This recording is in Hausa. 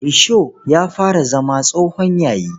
Risho ya fara zama tsohon yayi.